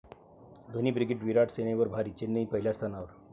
Dhoni brigade' 'Virat सेने'वर भारी, चेन्नई पहिल्या स्थानावर!